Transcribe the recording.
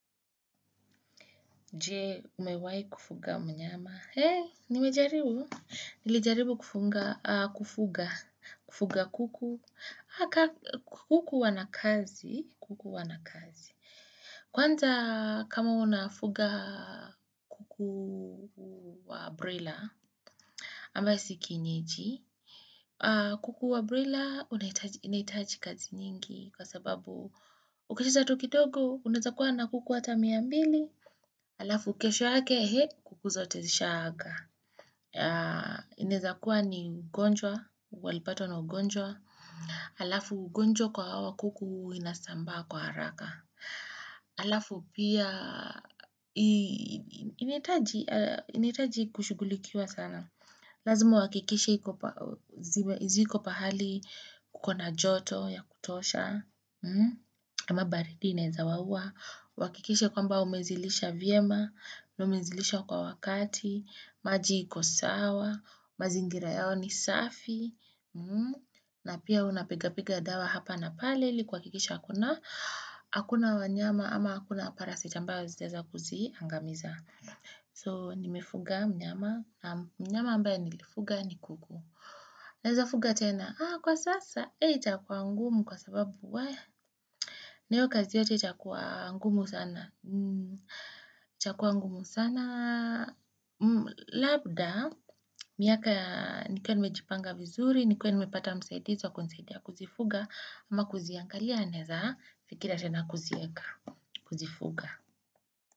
Je, umewai kufuga mnyama. He, nimejaribu? Nilijaribu kufuga kuku. Kuku wanakazi. Kwanza kama unafuga kuku wa broila, ambao si kienyeji. Kuku wa broila, inaitaji kazi nyingi. Kwa sababu, ukicheza tu kidogo, unaeza kuwa na kuku ata mia mbili. Alafu kesho yake, kuku zote zishaaga. Inaeza kuwa ni ugonjwa, walipatwa na ugonjwa. Alafu ugonjwa kwa hawa kuku inasamba kwa haraka. Alafu pia inahitaji kushughulikiwa sana. Lazima uhakikishe ziko pahali kukona joto ya kutosha. Kama baridi inaeza waua. Uhakikishe kwamba umezilisha vyema, umezilisha kwa wakati, maji iko sawa. Mazingira yao ni safi, na pia unapiga piga dawa hapa na pale, ilikuhakikisha hakuna, hakuna wanyama ama hakuna parasit ambayo zitaweza kuzi, angamiza. So, nimefuga mnyama, mnyama ambaye nilifuga ni kuku. Unaeza fuga tena, kwa sasa, itakua ngumu kwa sababu, na hiyo kazi yote itakua ngumu sana. Itakua ngumu sana Labda miaka nikuwa nimejipanga vizuri Nikiwa nimepata msaidizi wa kunisaidia kuzifuga ama kuziangalia naeza fikiria tena kuzieka Kuzifuga.